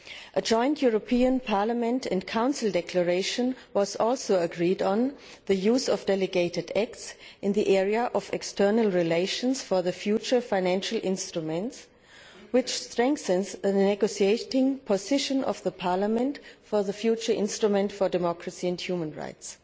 A joint European Parliament and Council declaration was also agreed on the use of delegated acts in the area of external relations for the future financial instruments, which strengthens the negotiating position of Parliament for the future instrument for democracy and human rights.